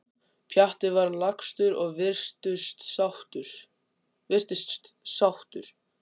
Pjatti var lagstur og virtist sáttur.